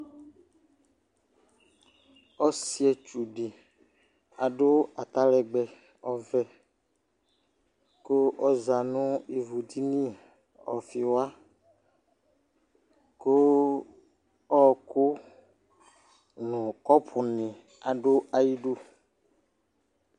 Ɔsɩetsu ɖɩ aɖʋ atalɛgbɛ ɔvɛ ,ƙʋ ɔza nʋ ivu ɖini ɔƒɩ waƘʋ ɔɔkʋ nʋ ƙɔpʋ nɩ aɖʋ ayʋ iɖu